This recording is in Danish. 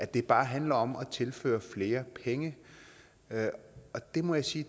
det bare handler om at tilføre flere penge og det må jeg sige